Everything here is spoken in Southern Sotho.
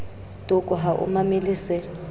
toko ha o mamele se